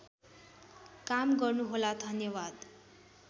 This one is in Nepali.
काम गर्नुहोला धन्यवाद